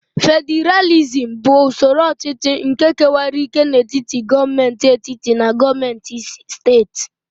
Fediralizm bụ usoro ọchịchị nke kewara ike n'etiti gọọmentị etiti na gọọmentị steeti.